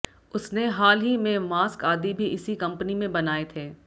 उसने हाल ही में मास्क आदि भी इसी कंपनी में बनाए थे